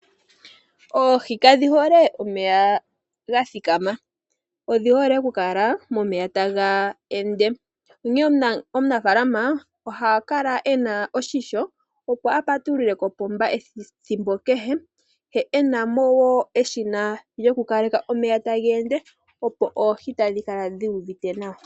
Oohi kadhi hole omeya gathikama ndele odhi hole oku kala momeya taga ende, onkene omunafalama ohakala ena esilo shimpwiyu opo apa tulule kopomba ethimbo kehe ye okunamo wo eshina lyoku kaleka omeya taga ende opo oohi dhikale dhi uvite nawa.